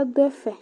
adʋ ɛfɛ